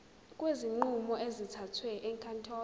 kwezinqumo ezithathwe ezinkantolo